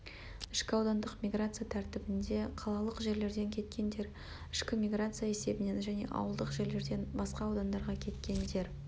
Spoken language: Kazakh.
ішкі аудандық миграция тәртібінде қалалық жерлерден кеткендер ішкі миграция есебінен және ауылдық жерлерден басқа аудандарға кеткендер